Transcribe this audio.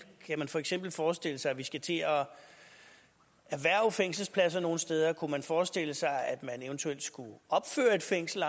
kan man for eksempel forestille sig at vi skal til at erhverve fængselspladser nogle steder kunne man forestille sig at man eventuelt skulle opføre et fængsel